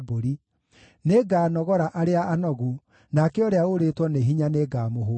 Nĩnganogora arĩa anogu, nake ũrĩa ũũrĩtwo nĩ hinya nĩngamũhũũnia.”